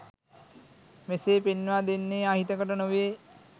මෙසේ පෙන්වා දෙන්නේ අහිතකට නොවේ.